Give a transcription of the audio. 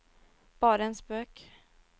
bare en spøk